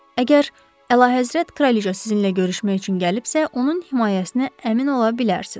Əgər əlahəzrət kraliça sizinlə görüşmək üçün gəlibsə, onun himayəsinə əmin ola bilərsiniz.